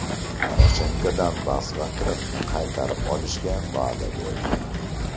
Poroshenko Donbass va Qrimni qaytarib olishga va’da berdi.